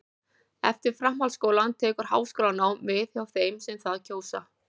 eftir framhaldsskólann tekur háskólanám við hjá þeim sem það kjósa